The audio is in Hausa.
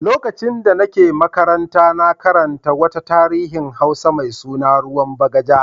Lokacin da nake makaranta na karanta wata tarihin Hausa mai suna "Ruwan Bagaja".